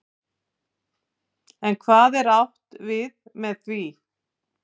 En hvað er átt við með því?